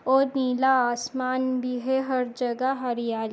और पीला आसमान भी है हर जगह हरियाल --